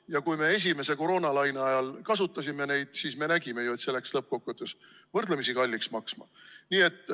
Ja kui me esimese koroonalaine ajal neid kasutasime, siis me nägime ju, et see läks lõppkokkuvõttes võrdlemisi kalliks maksma.